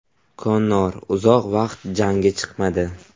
Konor uzoq vaqt jangga chiqmadi.